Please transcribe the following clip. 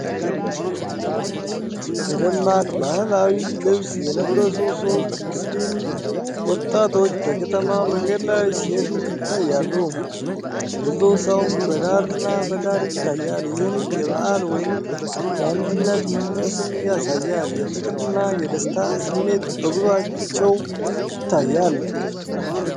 በደማቅ ባህላዊ ልብስ የለበሱ ሶስት ሙስሊም ወጣቶች በከተማ መንገድ ላይ ሲሄዱ ይታያሉ። ብዙ ሰውም በዳርና በዳር ይታያል፤ ይህም የበዓል ወይም የአንድነት መንፈስን ያሳያል። የፍቅርና የደስታ ስሜት በጉዟቸው ይታያል።